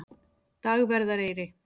Dagverðareyri